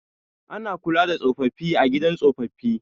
Ana kula da tsofaffi a gidan tsofaffi